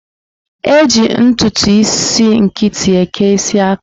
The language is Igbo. Eji ntụtụ isi nkịtị eke isi aka.